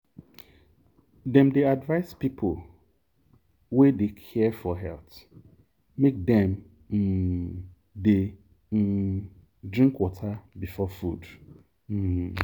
dem dey advise people wey dey care for health make dem um dey um drink water before food. um